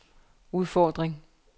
udfordring